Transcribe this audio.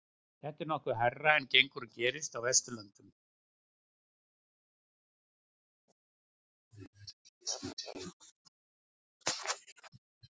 þetta er nokkuð hærra en gengur og gerist á vesturlöndum